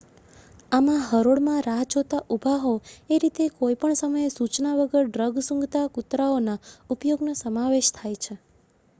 આમાં હરોળ માં રાહ જોતાં ઊભા હોવ એ રીતે કોઈ પણ સમયે સૂચના વગર ડ્રગ સૂંઘતા કુતરાઓના ઉપયોગનો સમાવેશ થાય છે